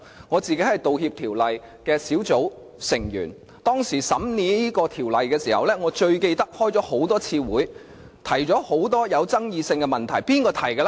我是《道歉條例草案》委員會成員，當審議這項條例時，開了多次會議，有很多具爭議性的問題提出。